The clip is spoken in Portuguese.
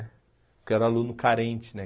Porque eu era aluno carente, né?